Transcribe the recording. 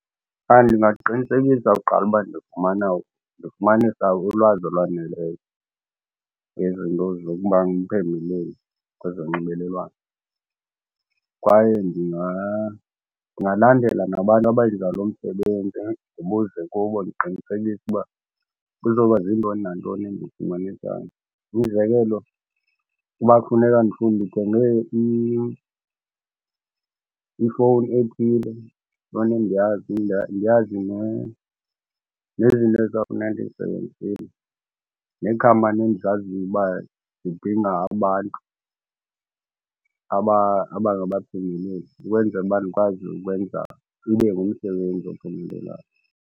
Ndingaqinisekisa kuqala uba ndifumana ndifumanisa ulwazi olwaneleyo ngezinto zokuba ngumphembeleli kwezonxibelelwano. Kwaye ndingalandela nabantu abenza lo msebenzi, ndibuze kubo ndiqinisekise uba kuzoba ziintoni nantoni endizifumanisayo. Umzekelo, ukuba kufuneka ndithenge ifowuni ethile fanele ndiyazi nezinto ezizawufuneka ndizisebenzisile, neekhampani endizaziyo uba zidinga abantu abangabaphembeleli ukwenzela uba ndikwazi ukwenza ibe ngumsebenzi ophumelelayo.